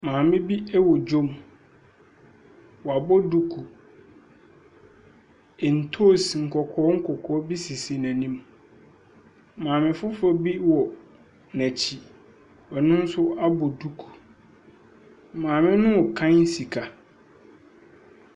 Maame bi ɛwɔ dwom. Wabɔ duku. Ntoos nkɔkɔɔ nkɔkɔɔ bi si n'anim. Maame foforɔ bi wɔ n'akyi. Ɔnonso abɔ duku. Maame no ɛkan sika.